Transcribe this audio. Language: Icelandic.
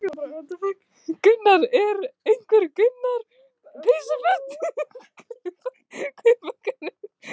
Þóra: Einhver önnur peysuföt þá kannski?